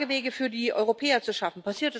Klagewege für die Europäer zu schaffen.